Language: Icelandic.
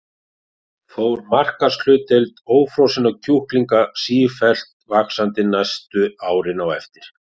Fór markaðshlutdeild ófrosinna kjúklinga sífellt vaxandi næstu árin á eftir.